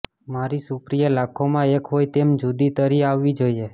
મારી સુપ્રિયા લાખોમાં એક હોય તેમ જુદી તરી આવવી જોઈએ